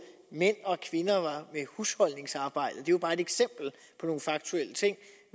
mænd og kvinder i husholdningsarbejdet det var bare et eksempel på nogle faktuelle ting